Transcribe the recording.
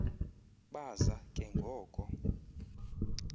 baza ke ngoko